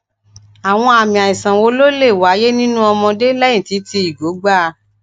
àwọn àmì aisan wo ló lè wáyé ninu omode lẹyìn tí tí igo gba a